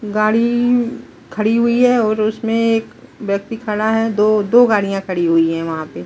गाड़ी खड़ी हुई है और उसमे एक व्यक्ति खड़ा है दो दो गाड़ियाँ खड़ी हुई है वहाँ पे--